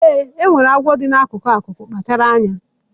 Ee, e nwere agwọ dị n'akụkụ akụkụ, kpachara anya.